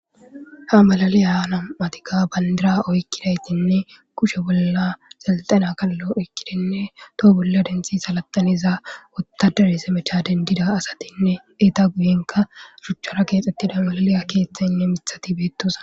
Ha malaliyanam'atika bandira oykkidaytinne kushe bolla xelxana kallo oykkidenne toho bolla denthi salaxaniza wotadere semecha dendida asatinne eta guyenka ruchchara keexxettida malaliya keeththaynne mithati beettosa.